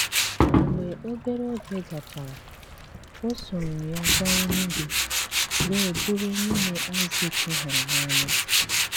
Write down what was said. Mgbe obere oge gachara, ọ sòrò ya gàa Enùgwū wee bụrụ nwunye Aịzik hụrụ n’anya.